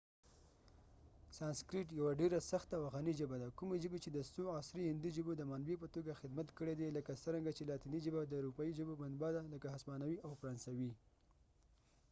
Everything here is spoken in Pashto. سانسکریت یوه ډیره سخته او غنی ژبه ده کومي ژبی چې د څو عصری هندي ژبو د منبع په توګه خدمت کړي دي لکه څرنګه چې لاتینی ژبه د اروپایې ژبو منبع ده لکه هسپانوي او فرانسوي